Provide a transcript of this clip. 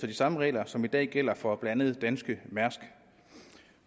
de samme regler som i dag gælder for blandt andet danske mærsk